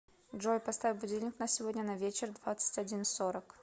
джой поставь будильник на сегодня на вечер двадцать один сорок